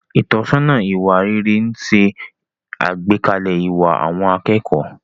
Ìtọ́sọ́nà ìwà rere ń ṣe àgbékalẹ̀ ìwà àwọn akẹ́kọ̀ọ́.